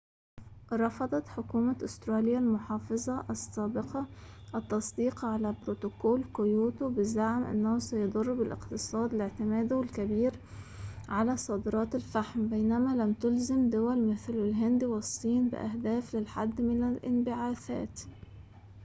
رفضت حكومة أستراليا المحافظة السابقة التصديق على بروتوكول كيوتو بزعم أنه سيضر بالاقتصاد لاعتماده الكبير على صادرات الفحم بينما لم تُلزم دول مثل الهند والصين بأهداف للحد من الانبعاثات